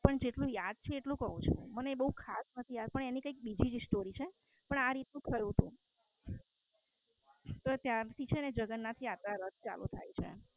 પણ જેટલું યાદ છે એટલું કવ ચુ. મને એ બોવ ખાસ નથી યાદ એની કૈક બીજી જ સ્ટોરી છે પણ આ રીત નું થયું હતું.